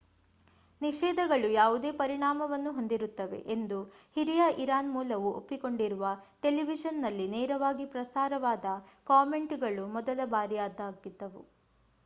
ನಿಷೇಧಗಳು ಯಾವುದೇ ಪರಿಣಾಮವನ್ನು ಹೊಂದಿರುತ್ತವೆ ಎಂದು ಹಿರಿಯ ಇರಾನ್‌ ಮೂಲವು ಒಪ್ಪಿಕೊಂಡಿರುವ ಟೆಲಿವಿಷನ್‌ನಲ್ಲಿ ನೇರವಾಗಿ ಪ್ರಸಾರವಾದ ಕಾಮೆಂಟ್‌ಗಳು ಮೊದಲ ಬಾರಿಯದಾಗಿದ್ದವು